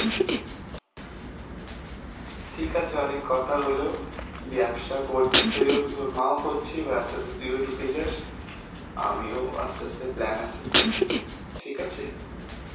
ঠিক আছে অনেক কথা হল ব্যবসা করতে~ তোর মা করছে এবার আস্তে আস্তে তুইও ঢুকে যাস আমিও আস্তে আস্তে plan আছে, ঠিকআছে.